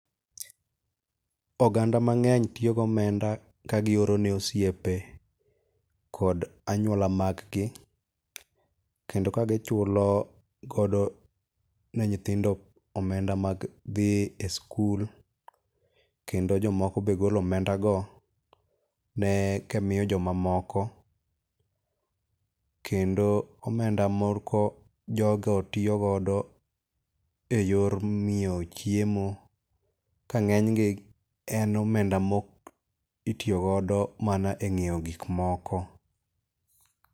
Oganda mang'eny tiyo gomenda kagioro ne osiepe kod anyuola mag gi, kendo ka gichulo godo ne nyithindo omenda mag dhi e skul. Kendo jomoko be golo omenda go ne ka miyo jomoko. Kendo omenda moko jogo tiyo godo e yor ng'iewo chiemo, ka ng'eny gi en omenda mok itiyogodo mana e ng'iewo gik moko.